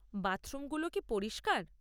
বাথরুমগুলো কি পরিষ্কার?